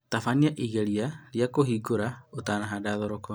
Tabania igeria rĩa kũringũra utanahanda thoroko